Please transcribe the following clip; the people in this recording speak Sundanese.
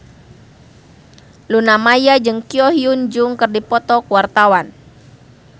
Luna Maya jeung Ko Hyun Jung keur dipoto ku wartawan